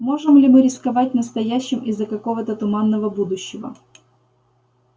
можем ли мы рисковать настоящим из за какого то туманного будущего